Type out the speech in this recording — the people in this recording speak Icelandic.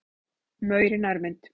Maur í nærmynd.